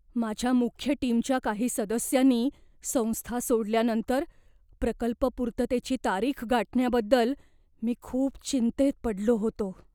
माझ्या मुख्य टीमच्या काही सदस्यांनी संस्था सोडल्यानंतर प्रकल्प पूर्ततेची तारीख गाठण्याबद्दल मी खूप चिंतेत पडलो होतो.